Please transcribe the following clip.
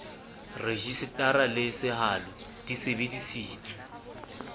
rejisetara le sehalo di sebedisitswe